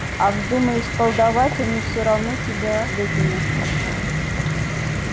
а вздумаешь колдовать они всё равно тебя выгонят